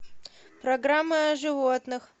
программа о животных